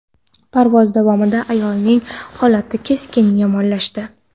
Parvoz davomida ayolning holati keskin yomonlashdi.